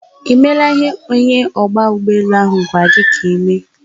I meela ihe onye ogba ugboelu ahu gwara gi ka I imee?